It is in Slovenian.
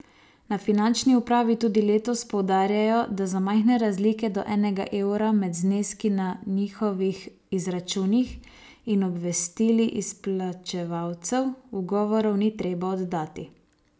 Na finančni upravi tudi letos poudarjajo, da za majhne razlike do enega evra med zneski na njihovih izračunih in obvestili izplačevalcev ugovorov ni treba oddati.